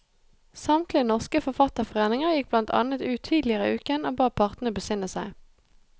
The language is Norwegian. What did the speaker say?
Samtlige norske forfatterforeninger gikk blant annet ut tidligere i uken og ba partene besinne seg.